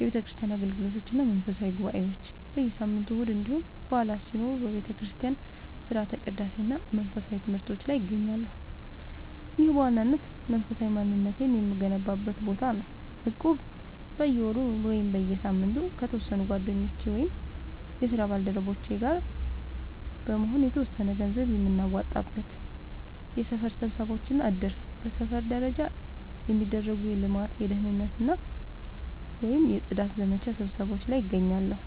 የቤተክርስቲያን አገልግሎቶች እና መንፈሳዊ ጉባኤዎች፦ በየሳምንቱ እሁድ እንዲሁም በዓላት ሲኖሩ በቤተክርስቲያን ሥርዓተ ቅዳሴ እና መንፈሳዊ ትምህርቶች ላይ እገኛለሁ። ይህ በዋናነት መንፈሳዊ ማንነቴን የምገነባበት ቦታ ነው። እቁብ፦ በየወሩ ወይም በየሳምንቱ ከተወሰኑ ጓደኞቼ ወይም የስራ ባልደረቦቼ ጋር በመሆን የተወሰነ ገንዘብ የምናዋጣበት። የሰፈር ስብሰባዎች እና እድር፦ በሰፈር ደረጃ የሚደረጉ የልማት፣ የደህንነት ወይም የጽዳት ዘመቻ ስብሰባዎች ላይ እገኛለሁ።